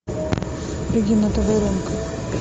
регина тодоренко